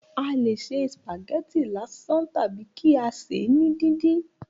A lè ṣe spaghetti lásán tàbí kí a ṣèé ní díndín